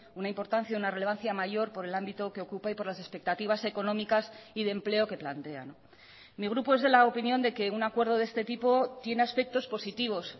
una importancia una relevancia mayor por el ámbito que ocupa y por las expectativas económicas y de empleo que plantean mi grupo es de la opinión de que un acuerdo de este tipo tiene aspectos positivos